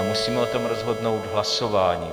A musíme o tom rozhodnout hlasováním.